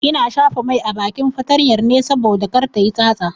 Ina shafa mai a bakin fatanyar ne saboda kar tayi tsatsa.